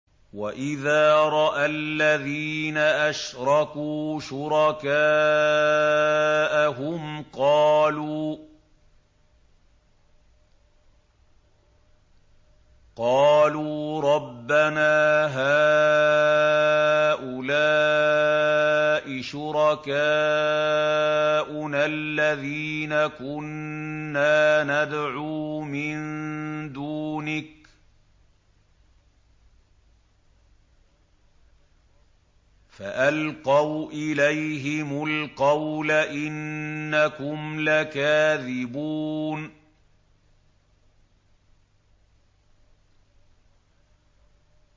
وَإِذَا رَأَى الَّذِينَ أَشْرَكُوا شُرَكَاءَهُمْ قَالُوا رَبَّنَا هَٰؤُلَاءِ شُرَكَاؤُنَا الَّذِينَ كُنَّا نَدْعُو مِن دُونِكَ ۖ فَأَلْقَوْا إِلَيْهِمُ الْقَوْلَ إِنَّكُمْ لَكَاذِبُونَ